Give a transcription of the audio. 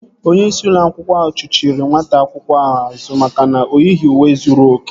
Onyeisi ụlọ akwụkwọ chuchiri nwata akwụkwọ ahụ azụ maka na oyighị uwe zuru oke